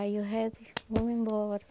Aí eu rezo e vou embora.